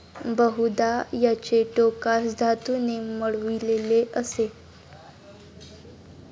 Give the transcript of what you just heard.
बहुदा, याचे टोकास धातूने मढविलेले असे ।